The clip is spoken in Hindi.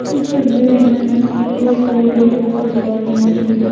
इस तस्वीर में पुरुष लोग ढोलकें बजा रहे हैं।